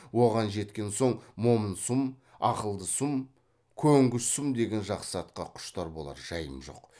оған жеткен соң момын сұм ақылды сұм көнгіш сұм деген жақсы атқа құштар болар жайым жоқ